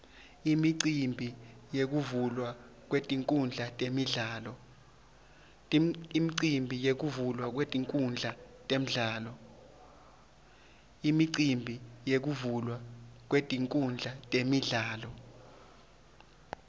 imicimbi yekuvulwa kwetinkhundla temidlalo